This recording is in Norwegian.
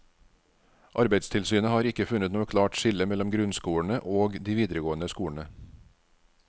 Arbeidstilsynet har ikke funnet noe klart skille mellom grunnskolene og de videregående skolene.